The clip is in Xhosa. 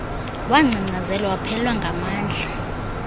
wangcangcazela waphelelwa nangamandla